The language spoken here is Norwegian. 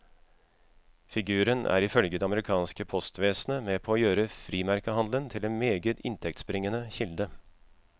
Figuren er ifølge det amerikanske postvesenet med på å gjøre frimerkehandelen til en meget inntektsbringende kilde.